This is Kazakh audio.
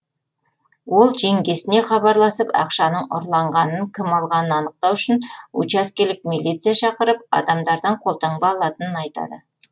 ол жеңгесіне хабарласып ақшаның ұрланғанын кім алғанын анықтау үшін учаскелік милиция шақырып адамдардан қолтаңба алатынын айтады